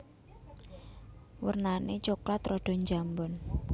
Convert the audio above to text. Wernané coklat rada njambon